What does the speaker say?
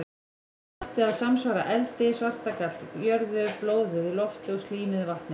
Gallið átti að samsvara eldi, svartagall jörðu, blóðið lofti og slímið vatni.